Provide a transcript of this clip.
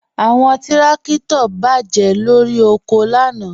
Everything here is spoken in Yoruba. Awọn tìrakito bá jẹ lọ́ri oko lànà.